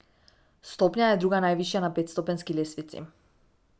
Stopnja je druga najvišja na petstopenjski lestvici.